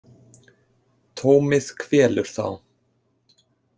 Tómið kvelur þá.